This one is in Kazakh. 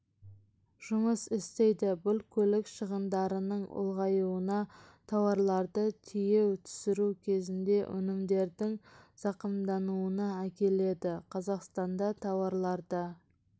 жұмыс істейді бұл көлік шығындарының ұлғайуына тауарларды тиеу түсіру кезінде өнімдердің зақымдануына әкеледі қазақстанда тауарларды